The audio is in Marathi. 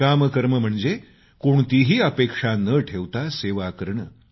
निष्काम कर्म म्हणजे कोणतीही अपेक्षा न ठेवता सेवा करणे